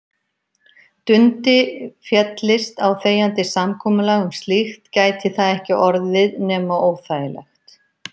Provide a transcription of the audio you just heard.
Dundi féllist á þegjandi samkomulag um slíkt gæti það ekki orðið nema óþægilegt.